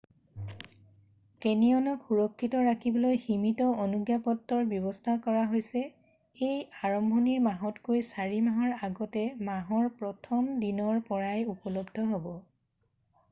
কেনিয়নক সুৰক্ষিত ৰাখিবলৈ সীমিত অনুজ্ঞাপত্ৰৰ ব্যৱস্থা কৰা হৈছে এইবোৰ আৰম্ভণিৰ মাহতকৈ চাৰি মাহ আগতে মাহৰ 1ম দিনৰ পৰাই উপলব্ধ হ'ব